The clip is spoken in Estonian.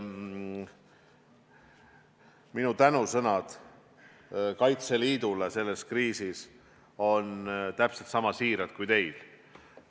Minu tänusõnad Kaitseliidule selles kriisis on sama siirad kui teil.